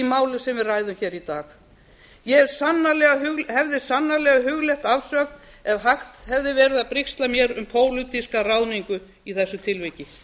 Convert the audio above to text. við ræðum hér í dag ég hefði sannarlega hugleitt afsögn ef hægt hefði verið að brigsla mér um pólitíska ráðningu í þessu tilviki